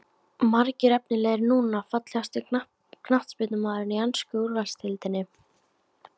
Margir efnilegir núna Fallegasti knattspyrnumaðurinn í ensku úrvalsdeildinni?